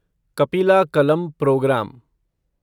कपिला कलम प्रोग्राम